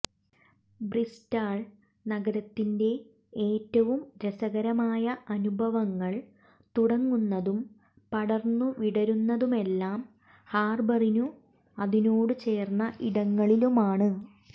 Bristol നഗരത്തിന്റെ ഏറ്റവും രസകരമായ അനുഭവങ്ങൾ തുടങ്ങുന്നതും പടർന്നു വിടരുന്നതുമെല്ലാം ഹാർബറിനും അതിനോട് ചേർന്ന ഇടങ്ങളിലുമാണ്